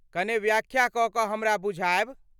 कने व्याख्या कऽ कऽ हमरा बुझायब?